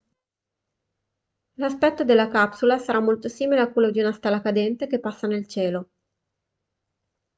l'aspetto della capsula sarà molto simile a quello di una stella cadente che passa nel cielo